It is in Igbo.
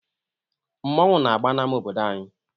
Mmọnwụ na-agba n'ámá obodo anyị.